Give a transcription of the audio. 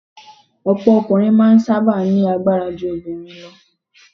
Ọ̀pọ̀ ọkùnrin máa ń sábà ní agbára ju obìnrin lọ